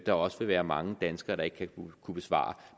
der også vil være mange danskere der ikke vil kunne besvare